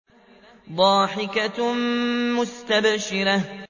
ضَاحِكَةٌ مُّسْتَبْشِرَةٌ